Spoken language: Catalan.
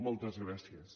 moltes gràcies